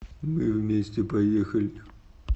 мы вместе поехали